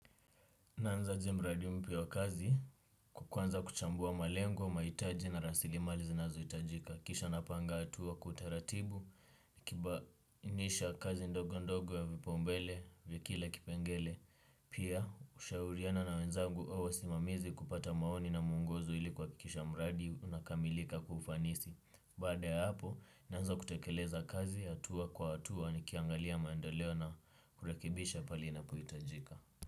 Naanza aje mradi mpya wa kazi, wa kuanza kuchambua malengo, mahitaji na rasilimali zinazohitajika. Kisha napanga hatua kwa utaratibu, nikibainisha kazi ndogo ndogo ya vipaumbele, ya kila kipengele. Pia, hushauriana na wenzagu au wasimamizi kupata maoni na mwongozo ili kuhakikisha mradi unakamilika kwa ufanisi. A ya hapo, naanza kutekeleza kazi, hatua kwa hatua, nikiangalia maendeleo na kurekebisha pale inapohitajika.